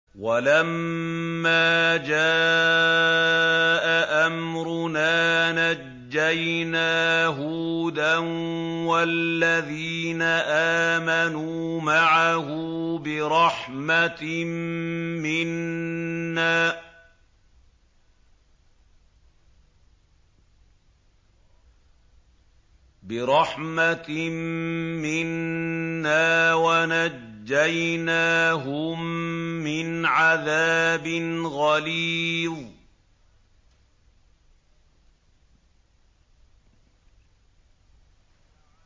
وَلَمَّا جَاءَ أَمْرُنَا نَجَّيْنَا هُودًا وَالَّذِينَ آمَنُوا مَعَهُ بِرَحْمَةٍ مِّنَّا وَنَجَّيْنَاهُم مِّنْ عَذَابٍ غَلِيظٍ